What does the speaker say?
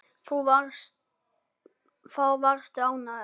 Þá varstu ánægð.